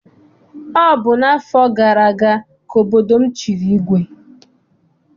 Ọ bụ n'afọ gara aga ka obodo m chịrị igwe.